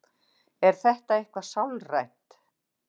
Er þetta eitthvað sálrænt?